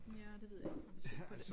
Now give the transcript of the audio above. Ja det ved jeg ikke må vi se på det